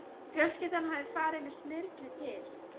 Fjölskyldan hafði farið með Smyrli til